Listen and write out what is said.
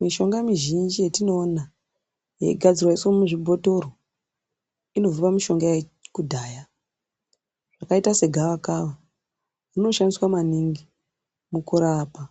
Mishonga mwizhinji yetinoona yeigadzirwa yoiswa muzvibhotoro ,inobva pamishonga yekudhaya yakaita segawakawa, rinoshandiswa maningi mukurapa